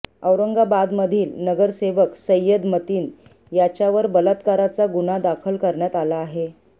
औरंगाबादमधील नगरसेवक सय्यद मतीन याच्यावर बलात्काराचा गुन्हा दाखल करण्यात आला आहे